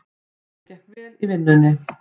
Henni gekk vel í vinnunni.